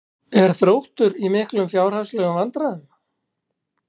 Er Þróttur í miklum fjárhagslegum vandræðum?